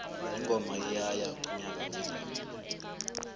ingoma iyaya unyaka ozako